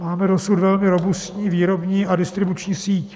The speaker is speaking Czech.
Máme dosud velmi robustní výrobní a distribuční síť.